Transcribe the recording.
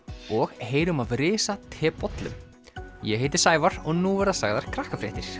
og heyrum af risatebollum ég heiti Sævar og nú verða sagðar